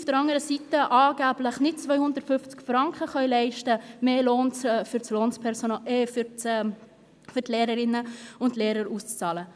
Auf der anderen Seite können wir uns angeblich keine 250 Franken leisten, um mehr Lohn an Lehrerinnen und Lehrer auszubezahlen.